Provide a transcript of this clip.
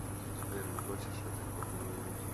сбер не хочешь ли ты поговорить